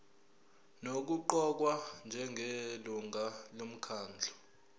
nokuqokwa njengelungu lomkhandlu